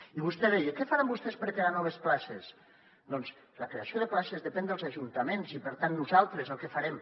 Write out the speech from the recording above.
i vostè deia què faran vostès per crear noves places doncs la creació de places depèn dels ajuntaments i per tant nosaltres el que farem